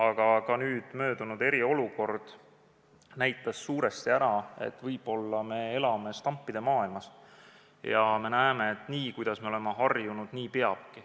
Aga möödunud eriolukord näitas suuresti ära, et võib-olla me elame stampide maailmas ja arvame, et nii peabki, kuidas me oleme harjunud.